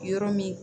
Yɔrɔ min